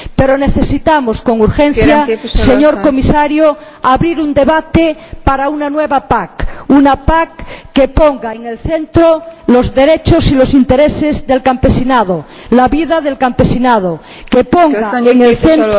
Pero necesitamos con urgencia, señor Comisario, abrir un debate para una nueva PAC, una PAC que ponga en el centro los derechos y los intereses del campesinado, la vida del campesinado, que ponga en el centro